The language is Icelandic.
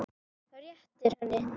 Réttir henni.